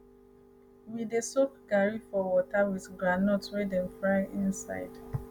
we dey soak garri for water with groundnut wey dem fry inside